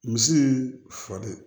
Misi falen